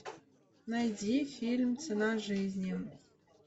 найди фильм цена жизни